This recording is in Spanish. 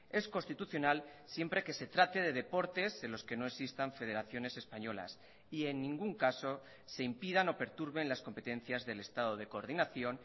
es constitucional siempre que se trate de deportes en los que no existan federaciones españolas y en ningún caso se impidan o perturben las competencias del estado de coordinación